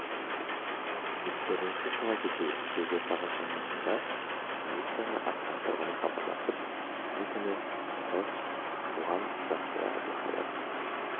естеріңізге сала кетейік шілде сағат шамасында полицияға астана тұрғыны хабарласып шілде күні жылы туған жансая әбілхайыр